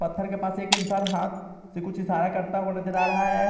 पत्थर के पास एक इंसान हाथ से कुछ इशारा करता हुआ नजर आ रहा है।